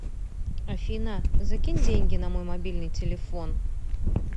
афина закинь деньги на мой мобильный телефон